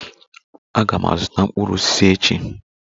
Aga m azụta mkpụrụ osisi echi.